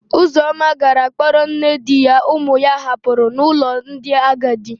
Ụzọma gara kpọrọ nne di ya ụmụ ya hapụrụ n'ụlọ ndị agadi.